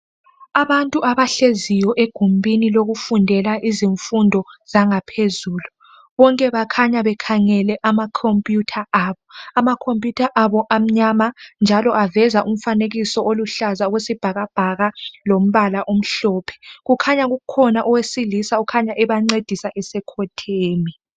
Abantu abahleziyo egumbini lokufundela izifundo zangaphezulu bonke bakhanya bekhangele amakhomputha abo. Amakhomputha abo amnyama njalo aveza umfanekiso oluhlaza okwesibhakabhaka lompala omhlophe kukhanya kukhona owesilisa okhanya ebancedisa esekhotheme.